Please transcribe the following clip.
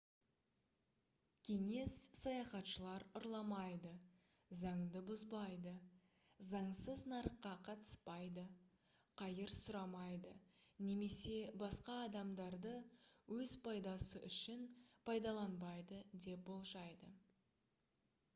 кеңес саяхатшылар ұрламайды заңды бұзбайды заңсыз нарыққа қатыспайды қайыр сұрамайды немесе басқа адамдарды өз пайдасы үшін пайдаланбайды деп болжайды